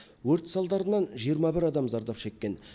өрт салдарынан жиырма бір адам зардап шеккен